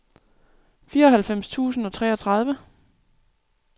fireoghalvfems tusind og treogtredive